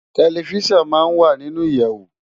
Tèlifisán má n wá ninú iyèwó